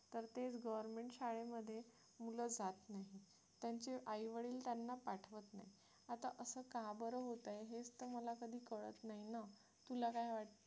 तर तेच government शाळेमध्ये मुलं जात नाहीत त्यांचे आई वडील त्यांना पाठवत नाहीत आता असं का बरं होतं हेच तर मला कधी कळत नाही ना तुला काय वाटते